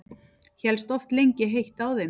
Hélst oft lengi heitt á þeim.